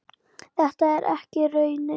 Þetta er ekki raunin.